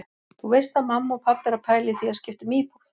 Þú veist að mamma og pabbi eru að pæla í því að skipta um íbúð.